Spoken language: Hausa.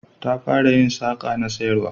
Ta fara yin saƙa na sayarwa